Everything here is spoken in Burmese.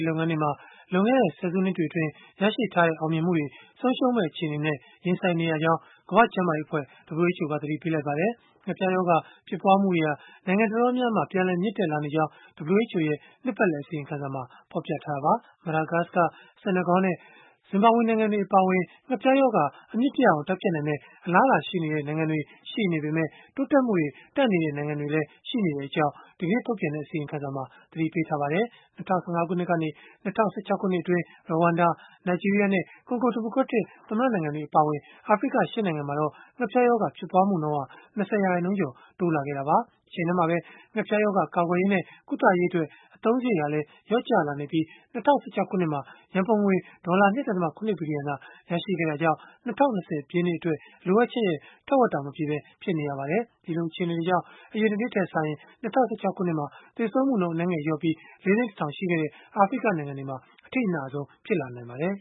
လုပ်ငန်းတွေမှာ လွန်ခဲ့တဲ့ ဆယ်စုနှစ်တွေအတွင်း ရရှိခဲ့တဲ့ အောင်မြင်မှုတွေကို ဆုံးရှုံးမယ့် အခြေအနေနဲ့ ရင်ဆိုင်နေရကြောင်း ကမ္ဘာ့ကျန်းမာရေးအဖွဲ့ (WHO) က သတိပေးလိုက်ပါတယ်။ ငှက်ဖျားရောဂါ ဖြစ်ပွားမှုတွေဟာ နိုင်ငံတော်တော်များများမှာ ပြန်လည်မြင့်တက်လာနေကြောင်း WHO ရဲ့ နှစ်ပတ်လည် အစီရင်ခံစာက ဖော်ပြခဲ့တာပါ။ Madagascar, Senegal နဲ့ Zimbabwe နိုင်ငံတွေ အပါအဝင် ငှက်ဖျားရောဂါ အမြစ်ပြတ်အောင် တိုက်ဖျက်နိုင်မယ့် အလားအလာရှိနေတဲ့ နိုင်ငံတွေ ရှိနေပေမဲ့ တိုးတက်မှုတွေ တန့်နေတဲ့ နိုင်ငံတွေ ရှိနေကြောင်းလည်း ဒီကနေ့ ထုတ်ပြန်လိုက်တဲ့ အစီရင်ခံစာက သတိပေးထားပါတယ်။ ၂၀၁၅ ခုနှစ် ကနေ ၂၀၁၆ ခုနှစ်အတွင်း Rwanda, Nigeria နဲ့ Congo ဒီမိုကရက်တစ် သမ္မတ နိုင်ငံတွေ အပါအဝင် အာဖရိက ၈ နိုင်ငံမှာတော့ ငှက်ဖျားရောဂါ ဖြစ်ပွားမှုနှုန်းဟာ ၂၀ ရာခိုင်နှုန်းကျော် တိုးလာခဲ့တာပါ။ တချိန်တည်းမှာပဲ ငှက်ဖျားရောဂါ ကာကွယ်ရေးနဲ့ ကုသရေးအတွက် အသုံးစရိတ်ဟာလည်း လျော့ကျလာနေပြီး၊ ၂၀၁၆ ခုနှစ်မှာ ရန်ပုံငွေ ဒေါ်လာ ၂.၇ ဘီလီယံသာ ရရှိခဲ့တာကြောင့် ၂၀၂၀ ပြည့်နှစ်အတွက် လိုအပ်ချက်ရဲ့ ထက်ဝက်တော့ မပြည့်ပဲ ဖြစ်နေပါတယ်။ ဒီလိုအခြေအနေတွေကြောင့် အရင်တနှစ်ထက်စာရင် ၂၀၁၆ ခုနှစ်မှာ သေဆုံးမှုနှုန်း အနည်းငယ် လျော့ကျခဲ့ပြီး ၄ သိန်း ၁ ထောင် ရှိခဲ့တဲ့ အာဖရိက နိုင်ငံတွေမှာ အထိအနာဆုံးဖြစ်လာနိုင်ပါတယ်